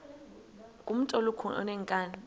ngumntu olukhuni oneenkani